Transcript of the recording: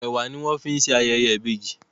Ẹ̀wà ni wọ́n fi ń ṣe ayẹyẹ ìbejì